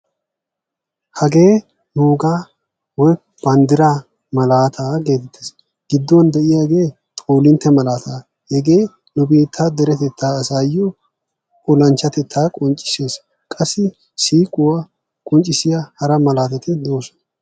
Hagee nuugaa banddiraa nu malaataa geetettees. Gidduwan de'iyaagee xoolintte malaataa, hegee nu biittaa deretettaa asaayo olanchchatettaa qonccissees, qassi siiquwa qonccissiya hara malaatati de'oosona.